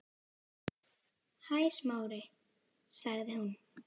Hæ, Smári- sagði hún.